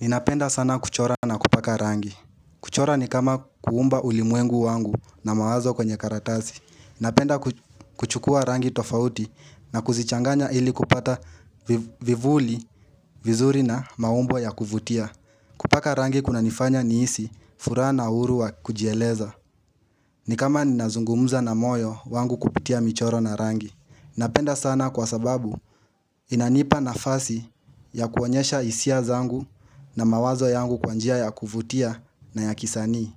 Ninapenda sana kuchora na kupaka rangi. Kuchora ni kama kuumba ulimwengu wangu na mawazo kwenye karatasi. Napenda kuchukua rangi tofauti na kuzichanganya ili kupata vivuli, vizuri na maumbo ya kuvutia. Kupaka rangi kuna nifanya nihisi furaha na uhuru wa kujieleza. Ni kama ninazungumuza na moyo wangu kupitia michoro na rangi. Napenda sana kwa sababu inanipa nafasi ya kuonyesha hisia zangu na mawazo yangu kwa njia ya kuvutia na ya kisani.